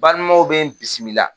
Balimaw be n bisimila.